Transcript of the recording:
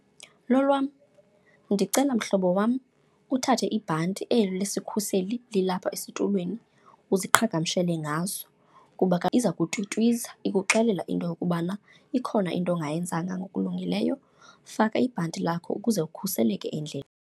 Lolwam, ndicela mhlobo wam uthathe ibhanti eli lesikhuseli lilapha esitulweni uziqhagamshele ngaso kuba ke iza kutwitwiza ikuxelela into yokubana ikhona into ongayenzanga ngokulungileyo. Faka ibhanti lakho ukuze ukhuseleke .